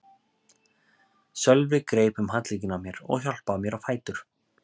Sölvi greip um handlegginn á mér og hjálpaði mér á fætur.